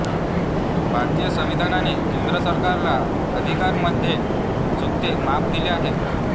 भारतीय संविधानाने केंद्र सरकारला अधिकारांमध्ये झुकते माप दिले आहे